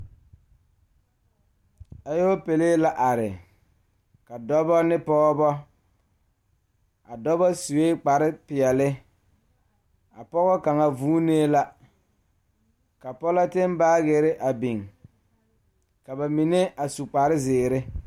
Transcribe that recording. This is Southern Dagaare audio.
Alɔpele are ziɛ la dɔɔ ne Pɔgeba a dɔɔ kaŋa suɛ kpare ziɛ ka bonsɔglaa a be be ko'o teɛ o nu a yeere woɔ sɔglɔ ka dɔɔba a te are a su kpare bamine a su kpare ziiri.